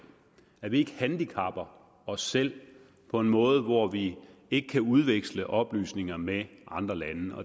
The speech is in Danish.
at vi ikke handicapper os selv på en måde hvor vi ikke kan udveksle oplysninger med andre lande